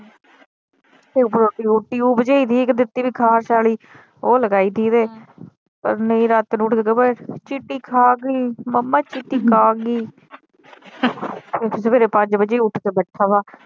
Tube ਜਿਹੀ ਦਿੱਤੀ ਖਾਰਿਸ਼ ਆਲੀ ਉਹ ਲਗਾਈ ਥੀ ਏਦੇ ਪਰ ਨਹੀਂ ਰਾਤ ਨੂੰ ਉੱਠ ਕੇ ਬਹਿ ਜੇ ਚੀਟੀ ਖਾ ਗਈ ਮੰਮਾ ਚੀਟੀ ਖਾ ਗਈ ਸਵੇਰੇ ਪੰਜ ਵਜੇ ਈ ਉੱਠ ਕੇ ਬੈਠਾ ਵਾ।